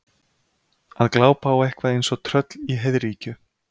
Að glápa á eitthvað eins og tröll í heiðríkju